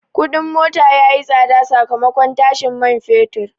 Kudin mota ya yi tsada sakamakon tashin man fetur.